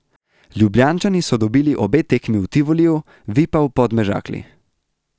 Ljubljančani so dobili obe tekmi v Tivoliju, vi pa v Podmežakli.